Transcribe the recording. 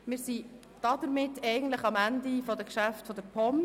Damit befinden wir uns eigentlich am Ende der Geschäfte der POM.